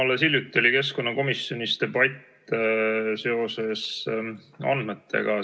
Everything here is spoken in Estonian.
Alles hiljuti oli keskkonnakomisjonis debatt andmete üle.